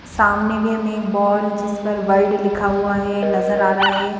सामने भी हमें एक बॉल जिस पर वर्ल्ड लिखा हुआ है नजर आ रहा है।